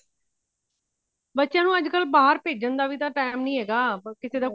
ਬੱਚਿਆ ਨੂੰ ਅੱਜਕਲ ਬਾਹਰ ਭੇਜਣ ਦਾ ਤਾਵੀਂ time ਨਹੀਂ ਹੈਗਾ ਕਿਸੇ ਦਾ